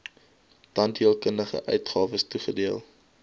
tandheelkundige uitgawes toegedeel